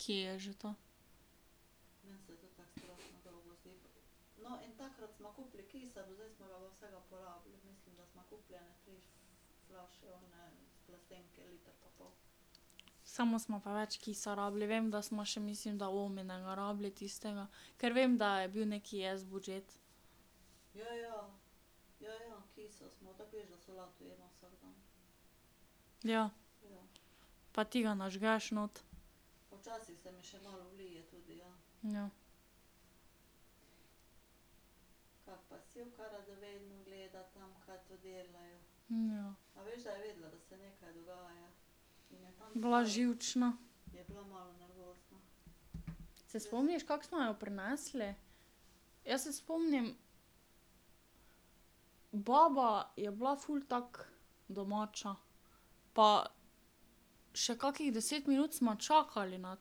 Kje je že to. Samo smo pa več kisa rabili, vem, da sva še, mislim, da ominega rabili tistega, ker vem, da je bil nekaj S budžet. Ja. Pa ti ga nažgeš noter. Ja. Ja. Bila živčna. Se spomniš, kako smo jo prinesli? Jaz se spomnim, baba je bila ful tako domača. Pa še kakšnih deset minut sva čakali na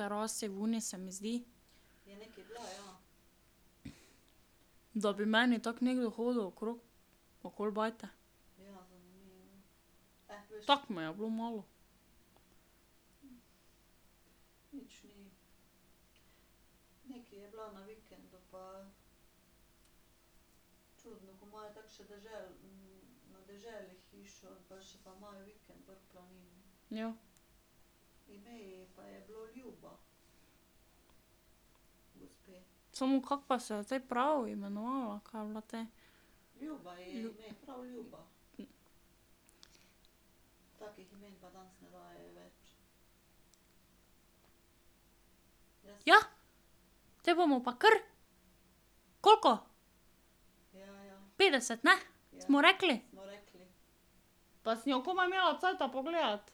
terasi zunaj, se mi zdi. Da bi meni tako nekdo hodil okrog, okoli bajte. Tako mi je bilo malo ... Ja. Samo, kako pa se je te prav imenovala, ka je bila te? Ja, potem bomo pa kar! Koliko? Petdeset, ne, smo rekli? Pa sem jo komaj imela cajta pogledati.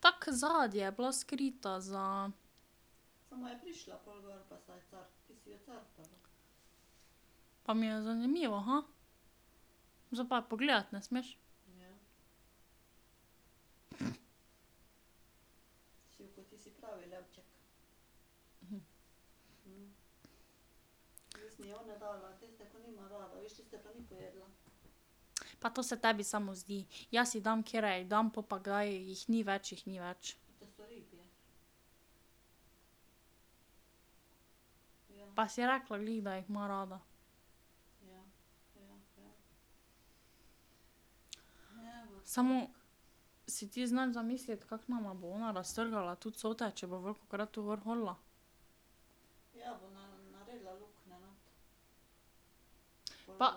Tako zadaj je bila skrita za ... Pa mi je zanimivo, Zdaj pa je pogledati ne smeš. Pa to se tebi samo zdi, jaz ji dam, katere ji dam, po pa, ka jih ni več, jih ni več. Pa si rekla glih, da jih ima rada. Samo, si ti znaš zamisliti, kako nama bo ona raztrgala tu cote, če bo velikokrat tu gor hodila? Pa ...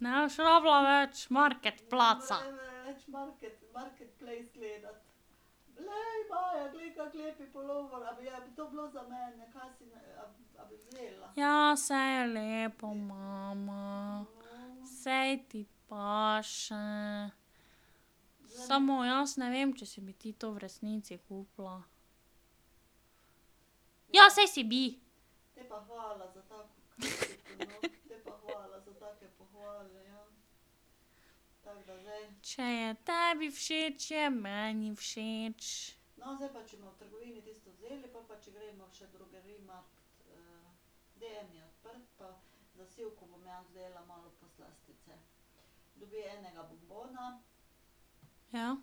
Ne boš rabila več marketplaca. Ja, saj je lepo, mama, saj ti paše. Samo jaz ne vem, če si bi ti to v resnici kupila. Ja, saj si bi! Če je tebi všeč, je meni všeč. Ja.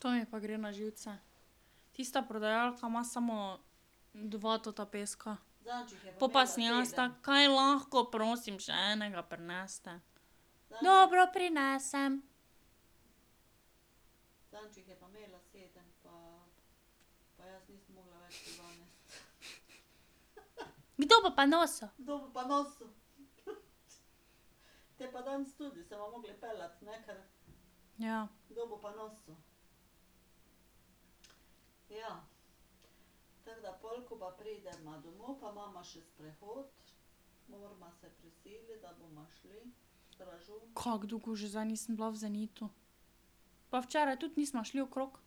To mi pa gre na živce. Tista prodajalka ima samo dva tota peska. Pol pa sem jaz tako: "Kaj lahko prosim še enega prinesete?" Dobro, prinesem. Kdo bo pa nosil? Ja. Kako dolgo že zdaj nisem bila v Zenitu. Pa včeraj tudi nisva šli okrog. Ja.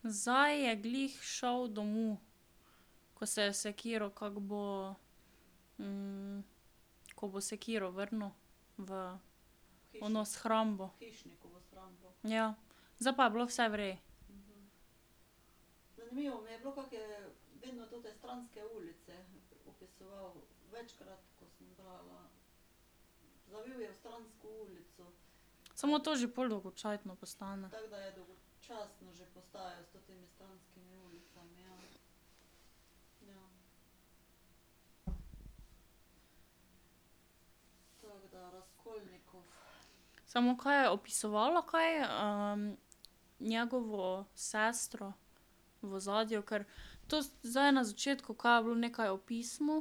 zdaj je glih šel domov, ko se je sekiral, kako bo, ko bo sekiro vrnil v ono shrambo. Ja, zdaj pa je bilo vse v redu. Samo to že pol dolgocajtno postane. Samo da je opisovalo, kaj njegovo sestro v ozadju? Ker to zdaj na začetku, ka je bilo nekaj o pismu.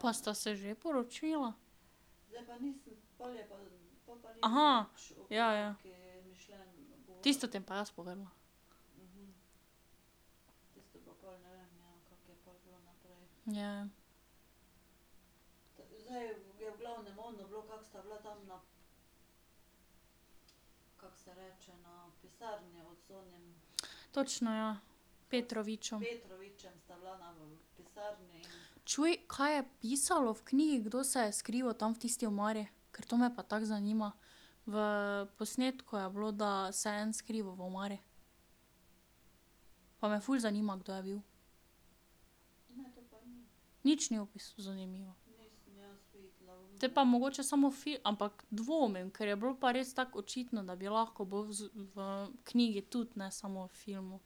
Pa sta se že poročila? ja, ja. Tisto ti bom pa jaz povedala. Ja, ja. Točno, ja. Petrovičem. Čuj, kaj je pisalo v knjigi, kdo se je skrival tam v tisti omari? Ker to me pa tako zanima. V posnetku je bilo, da se en skriva v omari. Pa me ful zanima, kdo je bil. Nič ni ... zanimivo. Potem pa mogoče samo ampak dvomim, ker je bilo pa res tako očitno, da bi lahko bilo v v knjigi tudi, ne samo v filmu.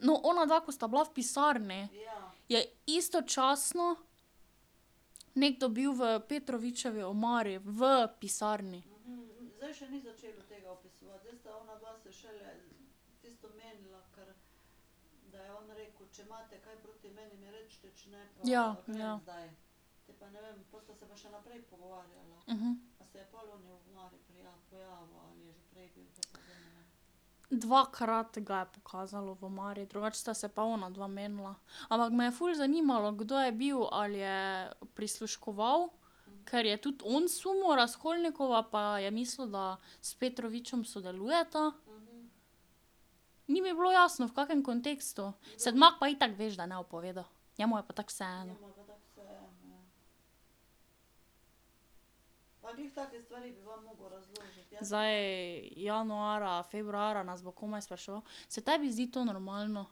No, onadva, ko sta bila v pisarni. Je istočasno nekdo bil v Petrovičevi omari v pisarni. Ja, ja. Dvakrat ga je pokazalo v omari, drugače sta se pa onadva menila. Ampak me je ful zanimalo, kdo je bil, ali je prisluškoval, ker je tudi on sumil Razkolnikova pa je mislil, da s Petrovičem sodelujeta. Ni mi bilo jasno, v kakem kontekstu, Sedmak pa itak veš, da ne bo povedal, njemu je pa tako vseeno. Zdaj januarja, februarja nas bo komaj spraševal, se tebi zdi to normalno?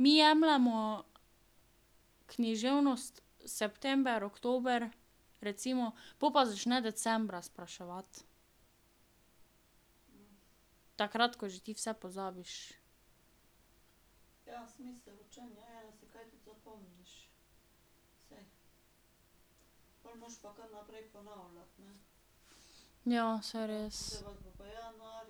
Mi jemljemo književnost september, oktober, recimo, pol pa začne decembra spraševati. Takrat, ko že ti vse pozabiš. Ja, saj res.